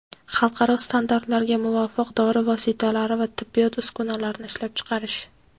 xalqaro standartlarga muvofiq dori vositalari va tibbiyot uskunalarini ishlab chiqarish;.